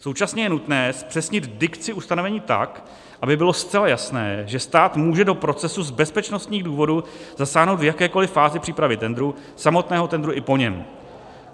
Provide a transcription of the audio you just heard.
Současně je nutné zpřesnit dikci ustanovení tak, aby bylo zcela jasné, že stát může do procesu z bezpečnostních důvodů zasáhnout v jakékoliv fázi přípravy tendru, samotného tendru i po něm.